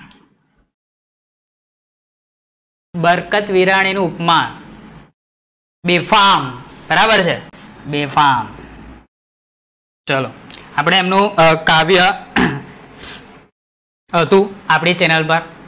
બારકતવરાની નું ઉપમા, બેફામ બરાબર છે બેફામ, ચલો, આપડે એમનું કાવ્ય હતું, આપડી ચેનલ પર